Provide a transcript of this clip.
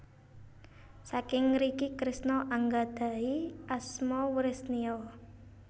Saking ngriki Kresna anggadhahi asma Wresneya